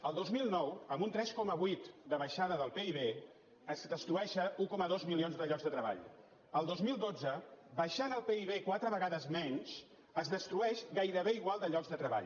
el dos mil nou amb un tres coma vuit de baixada del pib es destrueixen un coma dos milions de llocs de treball el dos mil dotze baixant el pib quatre vegades menys es destrueix gairebé igual de llocs de treball